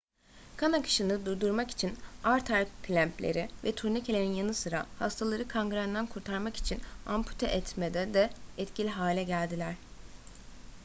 kan akışını durdurmak için arter klempleri ve turnikelerin yanı sıra hastaları kangrenden kurtarmak için ampute etmede de etkili hale geldiler